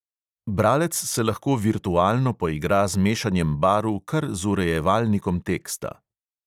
Bralec se lahko virtualno poigra z mešanjem barv kar z urejevalnikom teksta.